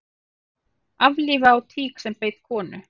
Aflífa á tík sem beit konu